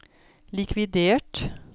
likvidert